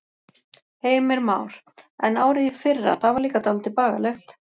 Heimir Már: En árið í fyrra, það var líka dálítið bagalegt?